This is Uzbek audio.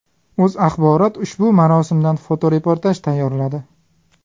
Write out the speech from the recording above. O‘zA ushbu marosimdan fotoreportaj tayyorladi .